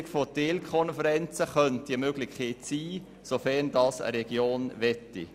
Die Bildung von Teilkonferenzen könnte eine Lösung sein, sofern diese von einer Region gewollt ist.